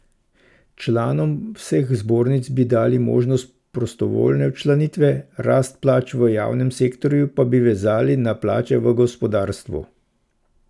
Članom vseh zbornic bi dali možnost prostovoljne včlanitve, rast plač v javnem sektorju pa bi vezali na plače v gospodarstvu.